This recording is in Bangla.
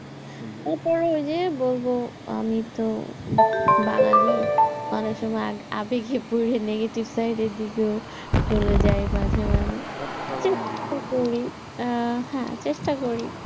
উপরে ওই যে বলবো আমি তো বাঙালি অনেক সময় আবেগে পড়ে negative side এর দিকেও চলে যাই মাঝে মাঝে, ভাত খাওয়া বাঙালি আমরা। হ্যাঁ চেষ্টা করি,